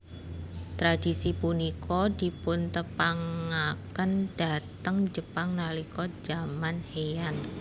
Tradisi punika dipuntepangaken dhateng Jepang nalika zaman Heian